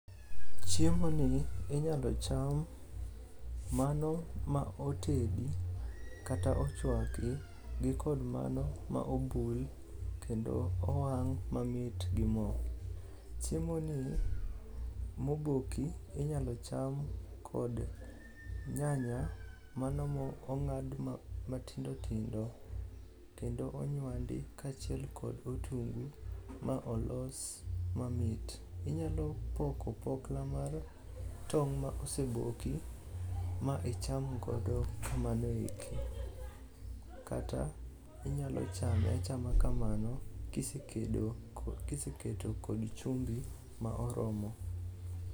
Chiemoni inyalo cham mano ma otedi kata ochwaki gi kod mano ma obul kendo owang' mamit gi mo. Chiemoni moboki inyalo cham kod nyanya mano mong'ad matindotindo kendo onywandi kaachiel kod otungu ma olos mamit. Iyalo poko opokla mar tong' ma oseboki ma icham godo kamano eki, kata inyalo chame achama kamano kiseketo kod chumbi ma oromo.